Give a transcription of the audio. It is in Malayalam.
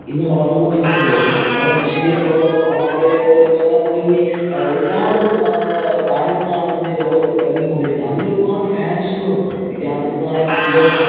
ഇന്ന് വളര്‍ന്നു കൊണ്ടിരിക്കുന്നത്. നമ്മുടെ മെസ്സിയെ പോലോത്തെ, റൊണാള്‍ഡോയെ പോലോത്തെ അങ്ങനെ തുടങ്ങി ഒരുപാട് താരങ്ങളാണ് ഇന്ന് ലോകത്ത് തിളങ്ങി കൊണ്ടിരിക്കുന്നത്. അതില് ഒരുപാട് fans ഉകളും വിദ്യാര്‍ത്ഥികളായ കുട്ടികള്‍